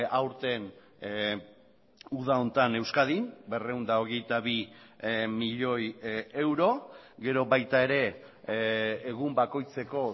aurten uda honetan euskadin berrehun eta hogeita bi milioi euro gero baita ere egun bakoitzeko